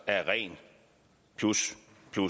er et rent plus